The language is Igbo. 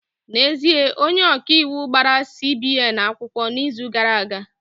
N'ezie, onye ọka iwu gbara CBN akwụkwọ n'izu gara aga